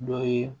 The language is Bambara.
Dɔ ye